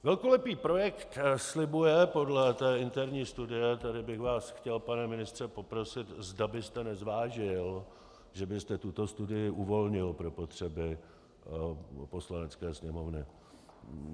Velkolepý projekt slibuje podle té interní studie - tady bych vás chtěl, pane ministře, poprosit, zda byste nezvážil, že byste tuto studii uvolnil pro potřeby Poslanecké sněmovny.